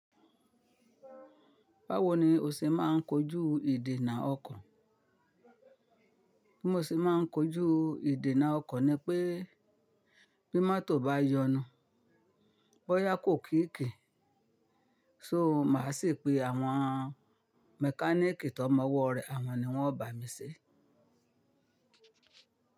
Báwo ni o ṣe máa ń kojú ìdènà ọkọ̀? Bí mo ṣe máa ń kojú ìdènà ọkọ̀ ni pé bí mọ́tò bá yọnu, bóyá kò kíìkì, so màá sì pe àwọn mẹkáníìkì tó mọwọ́ rẹ̀, àwọn ni wọ́n bá mi ṣe.